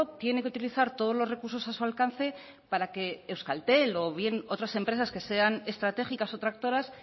tiene que utilizar todos los recursos a su alcance para que euskaltel o bien otras empresas que sean estratégicas o tractoras